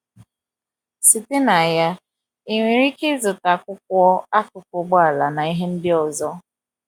Site na ya, ị nwere ike ịzụta akwụkwọ, akụkụ ụgbọala, na ihe ndị ọzọ.